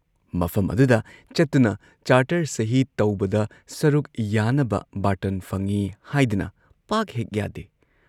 ꯃꯐꯝ ꯑꯗꯨꯗ ꯆꯠꯇꯨꯅ ꯆꯥꯔꯇꯔ ꯁꯍꯤ ꯇꯧꯕꯗ ꯁꯔꯨꯛ ꯌꯥꯅꯕ ꯕꯥꯔꯇꯟ ꯐꯪꯏ ꯍꯥꯏꯗꯨꯅ ꯄꯥꯛ ꯍꯦꯛ ꯌꯥꯗꯦ ꯫